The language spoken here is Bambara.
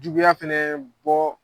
Juguya fana bɔ.